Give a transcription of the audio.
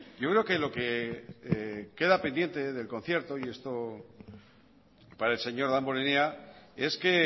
yo creo que lo que queda pendiente del concierto y esto para el señor damborenea es que